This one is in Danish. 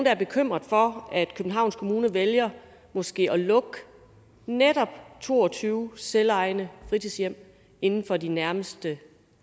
er bekymret for at københavns kommune vælger måske at lukke netop to og tyve selvejende fritidshjem inden for de nærmeste